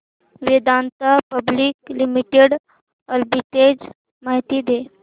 Vedanta Public Limited arbitrage माहिती दे